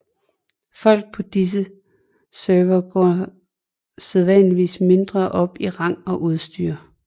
Folk på disse servere går sædvanligvis mindre op i rang og udstyr